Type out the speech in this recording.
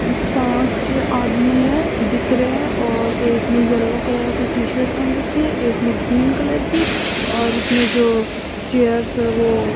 उं पांच आदमी है दिख रहे है और एक ने येलो कलर की टी-शर्ट पहन रखी है एक ने ग्रीन कलर की और इसमें जो चेयर्स है वो --